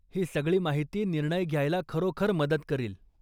ही सगळी माहिती निर्णय घ्यायला खरोखर मदत करील.